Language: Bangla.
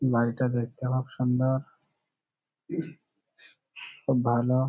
বাড়িটা দেখতে খুব সুন্দর খুব ভালো।